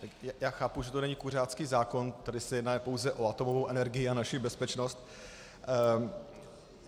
Já chápu, že to není kuřácký zákon, tady se jedná pouze o atomovou energii a naši bezpečnost.